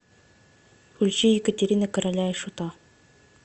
включи екатирина короля и шута